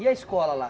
E a escola lá?